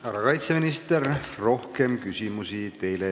Härra kaitseminister, rohkem teile küsimusi ei ole.